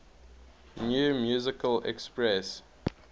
new musical express